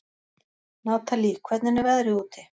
Natalí, hvernig er veðrið úti?